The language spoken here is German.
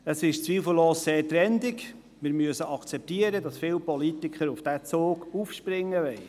Es ist zweifellos sehr trendig, und wir müssen akzeptieren, dass viele Politiker auf diesen Zug aufspringen wollen.